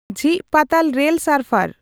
ᱡᱷᱤᱡᱽ ᱯᱟᱛᱟᱞ ᱨᱮᱞ ᱥᱟᱨᱯᱷᱟᱨ